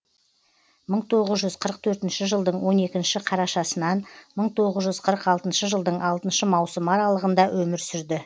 мың тоғыз жүз қырық төртінші жылдың он екінші қарашасынан мың тоғыз жүз қырық алтыншы жылдың алтыншы маусымы аралығында өмір сүрді